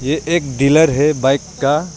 ये एक डीलर है बाइक का।